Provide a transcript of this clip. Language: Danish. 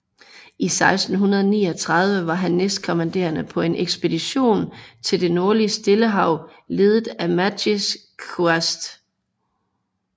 I 1639 var han næstkommanderende på en ekspedition til det nordlige Stillehav ledet af Matthijs Quast